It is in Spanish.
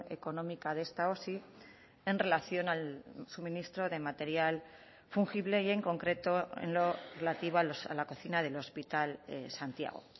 económica de esta osi en relación al suministro de material fungible y en concreto en lo relativo a la cocina del hospital santiago